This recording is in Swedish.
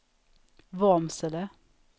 Vormsele